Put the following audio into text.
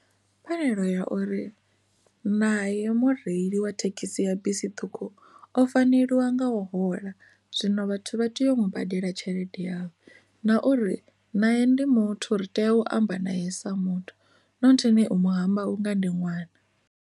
Pfhanelo ya uri naye mureili wa thekhisi ya bisi ṱhukhu o faneliwa nga u hola zwino vhathu vha tea u badela tshelede yavho na uri nae ndi muthu ri tea u amba naye sa muthu nothini u mu hamba unga ndi ṅwana.